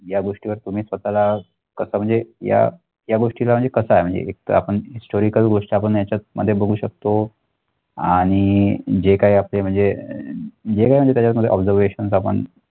या गोष्टीवर तुम्ही स्वतःला कस म्हणजे या त्या गोष्टीला म्हणजे कस आहे म्हणजे एकतर आपण historical गोष्ट आपण याच्यात मध्ये बघू शकतो आणि जे काही असते म्हणजे जे काही म्हणजे त्याच्यामध्ये obesarvations आपण